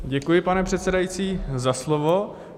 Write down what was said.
Děkuji, pane předsedající, za slovo.